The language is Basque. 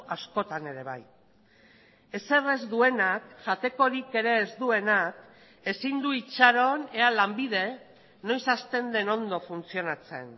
askotan ere bai ezer ez duenak jatekorik ere ez duenak ezin du itxaron ea lanbide noiz hastenden ondo funtzionatzen